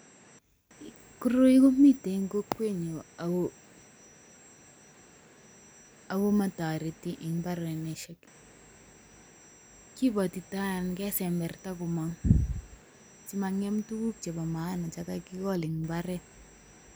Koroi komiten en kokwenyun ako motoreti en mbarenisiek, kibotito ana kesemberta komong' simang'em tuguk chebo maana chekakigol en mbaret.